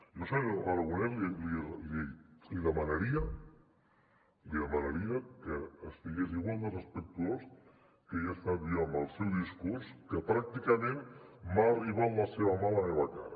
jo senyor aragonès li demanaria li demanaria que estigués igual de respectuós que he estat jo amb el seu discurs que pràcticament m’ha arribat la seva mà a la meva cara